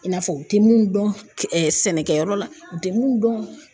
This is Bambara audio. I n'a fɔ u tɛ mun dɔn sɛnɛkɛyɔrɔ la, u tɛ mun dɔn